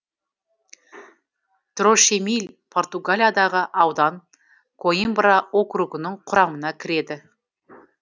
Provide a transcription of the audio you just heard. трошемил португалиядағы аудан коимбра округінің құрамына кіреді